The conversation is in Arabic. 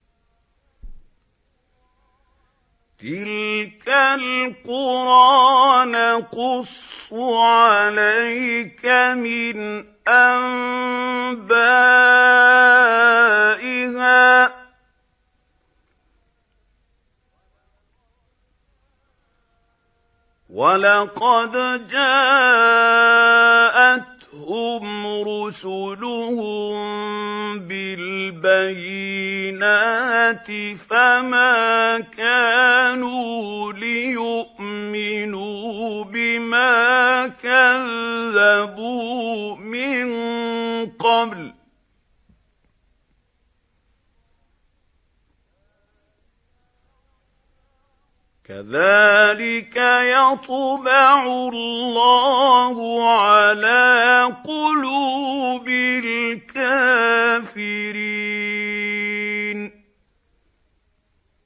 تِلْكَ الْقُرَىٰ نَقُصُّ عَلَيْكَ مِنْ أَنبَائِهَا ۚ وَلَقَدْ جَاءَتْهُمْ رُسُلُهُم بِالْبَيِّنَاتِ فَمَا كَانُوا لِيُؤْمِنُوا بِمَا كَذَّبُوا مِن قَبْلُ ۚ كَذَٰلِكَ يَطْبَعُ اللَّهُ عَلَىٰ قُلُوبِ الْكَافِرِينَ